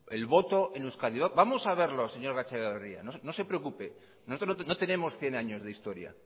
el voto en euskadi vamos a verlo señor gatzagaetxeberria no se preocupe nosotros no tenemos cien años de historia